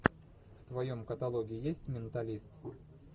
в твоем каталоге есть менталист